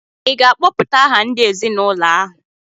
ị ga-akpọpụta aha ndị ezinụlọ ahụ?